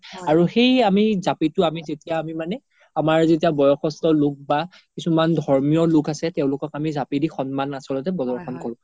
আৰু সেই আমি জাপিতো আমি যেতিয়া আমি মানে আমাৰ যেতিয়া বয়সোস্তো লোক বা কিছুমান ধৰ্মিও লোক আছে তেওলোকক আমি জাপিদি আচ্ল্তে সন্মান পদৰ্শন কৰো